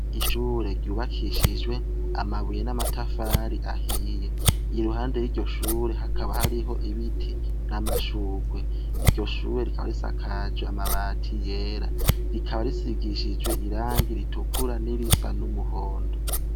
Ishure ryubakishijwe amabuye n'amatafari ahiye iruhande yiryo shure hakaba hariho ibiti n'amashurwe iryo shure rikaba risakajwe amabati yera rikaba risigishijwe irangi ritukura n'irisa n'umuhondo.